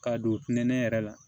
K'a don pɛntɛn yɛrɛ la